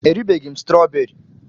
E ribeghị m strooberi.